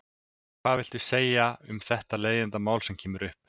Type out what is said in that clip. Hvað viltu segja um þetta leiðindamál sem kemur upp?